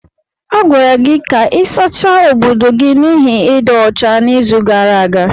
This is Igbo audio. A gwara gị ka ị sachaa obodo gị n'ihi ịdị ọcha n'izu gara aga.